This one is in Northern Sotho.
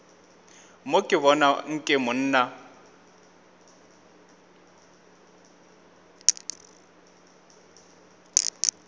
mo ke bona nke monna